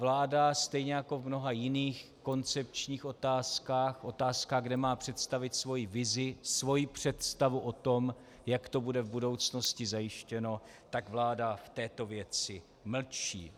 Vláda stejně jako v mnoha jiných koncepčních otázkách, otázkách, kde má představit svoji vizi, svoji představu o tom, jak to bude v budoucnosti zajištěno, tak vláda v této věci mlčí.